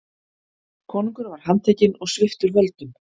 Konungur var handtekinn og sviptur völdum.